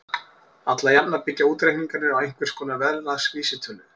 Alla jafna byggja útreikningarnir á einhvers konar verðlagsvísitölu.